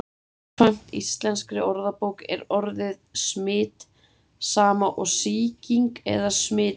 Samkvæmt íslenskri orðabók er orðið smit sama og sýking eða smitun.